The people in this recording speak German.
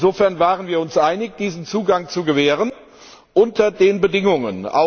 Insofern waren wir uns einig, diesen Zugang zu gewähren unter den Bedingungen.